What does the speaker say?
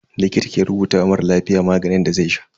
Likita ke rubuta wa mara lafiya maganin da zai sha.